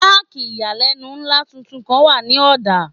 Páàkì ìyàlẹ́nu ńlá tuntun kan wà ní Ọ̀dá.